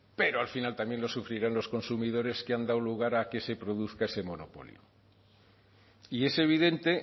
pero al final también lo sufrirán los consumidores que han dado lugar a que se produzca ese monopolio y es evidente